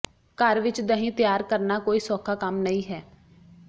ਘਰ ਵਿਚ ਦਹੀਂ ਤਿਆਰ ਕਰਨਾ ਕੋਈ ਸੌਖਾ ਕੰਮ ਨਹੀਂ ਹੈ